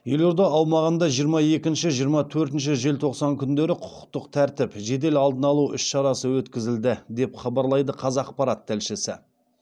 елорда аумағында жиырма екінші жиырма төртінші желтоқсан күндері құқықтық тәртіп жедел алдын алу іс шарасы өткізілді деп хабарлайды қазақпарат тілшісі